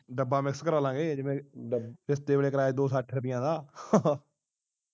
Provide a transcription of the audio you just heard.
ਡੱਬਾ miss ਕਰਵਾ ਲਵਾਂਗੇ ਡੱਬ ਰਿਸ਼ਤੇ ਵੇਲੇ ਕਰਵਾਇਆ ਦੋ ਸੱਠ ਰੁਪਿਆਂ ਦਾ